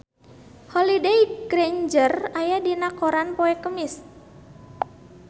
Holliday Grainger aya dina koran poe Kemis